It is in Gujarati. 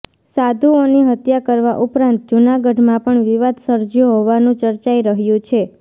સાધુઓની હત્યા કરવા ઉપરાંત જૂનાગઢમાં પણ વિવાદ સર્જ્યો હોવાનું ચર્ચાઈ રહ્યું છે